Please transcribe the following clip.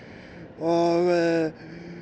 og